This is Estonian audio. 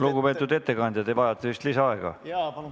Lugupeetud ettekandja, te vajate vist lisaaega.